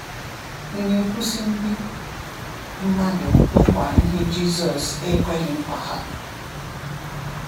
Ị na-ekwusi ndị mmadụ nkwa ihe Jisọs ekweghị nkwa ha?